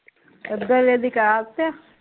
ਇਦਰਲੇ ਦੀ ਕਰਾਤੀ ਆ?